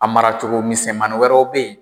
A maracogo misɛnmaniw wɛrɛw bɛ yen.